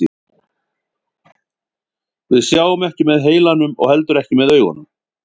Við sjáum ekki með heilanum og heldur ekki með augunum.